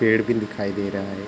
पेड़ भी दिखाई दे रहा है।